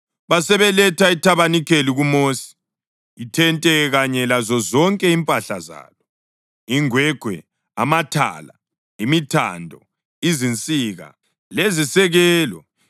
Basebeletha ithabanikeli kuMosi: ithente kanye lazozonke impahla zalo, ingwegwe, amathala, imithando, izinsika lezisekelo;